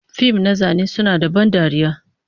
fim na zane suna da ban dariya,